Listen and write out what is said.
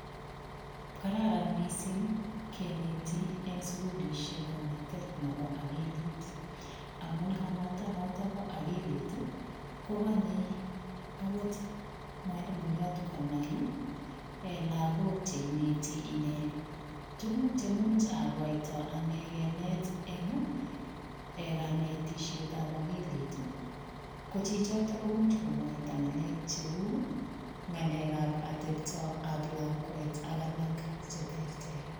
Kararan missing kenetii en sugulisheek kanetet nebo akilit amuun kanetet noton bo akilit ii ko kanyei akoot mwalimuyaat konai ii en lagook che inetii inei tuguuk chemuch akatoi anegeen kinet ii en kanetisheet ab akilit ii ko chichotoon komuuch komwaita ngaleek che uu ngalek ab atep ab lakwet ak alaak che terter.